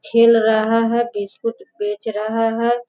खेल रहा है बिस्कुट बेच रहा है।